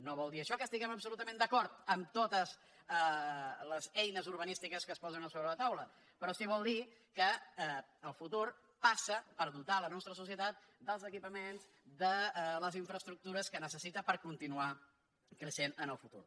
no vol dir això que estiguem absolutament d’acord amb totes les eines urbanístiques que es posen a sobre la taula però sí que vol dir que el futur passa per dotar la nostra societat dels equipaments de les infraestruc·tures que necessita per continuar creixent en el futur